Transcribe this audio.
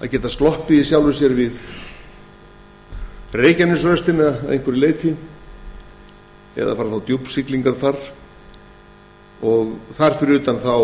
að geta sloppið við reykjanesröstina að einhverju leyti eða fara með djúpsiglingar þar fyrir utan það